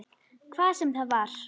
Hvað sem það var.